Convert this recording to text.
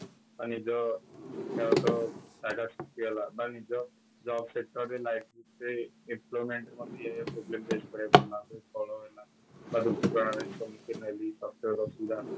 ନିଜ ଶିକ୍ଷା ଗତ ସୃଷ୍ଟି ହେଲା ବା ନିଜ job sector ରେ life ସେ employment ମତେ problem face କରିବାକୁ ପଡିଲା ବହୁତ କଳହ ହେଲା ଅସୁବିଧା ହେଲା